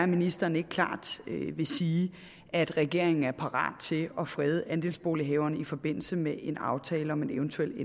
ministeren ikke klart vil sige at regeringen er parat til at frede andelsbolighaverne i forbindelse med en aftale om en eventuel